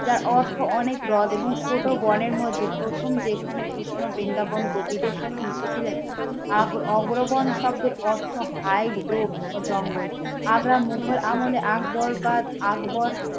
যার অর্থ অনেক হ্রদ এবং ছোট বনের মধ্যে প্রথম যেখানে কৃষ্ণ বৃন্দাবন কবিদের সাথে মিশেছিলেন। আগঅগ্রগণ শব্দের অর্থ হাইগ্রোভ ও জঙ্গল আগ্রা মুঘল আমলে আকবর বা আকবর